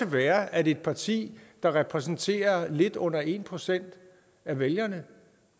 være at et parti der repræsenterer lidt under en procent af vælgerne